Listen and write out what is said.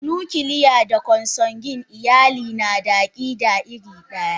Da nuclear da Consanguine iyali nada akida iridaya.